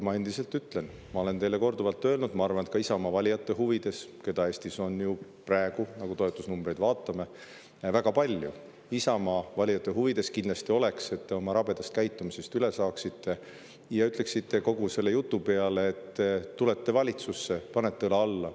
Ma endiselt ütlen seda, mida ma olen teile korduvalt öelnud: ma arvan, et ka Isamaa valijate huvides, keda Eestis on ju praegu, nagu toetusnumbritest, väga palju, oleks kindlasti, kui te oma rabedast käitumisest üle saaksite ja ütleksite kogu selle jutu peale, et te tulete valitsusse ja panete õla alla.